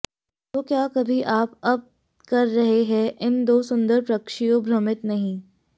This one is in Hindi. तो क्या कभी आप अब कर रहे हैं इन दो सुंदर पक्षियों भ्रमित नहीं